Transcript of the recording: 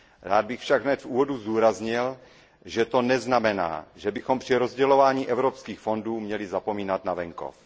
Rád bych však hned v úvodu zdůraznil, že to neznamená, že bychom při rozdělování evropských fondů měli zapomínat na venkov.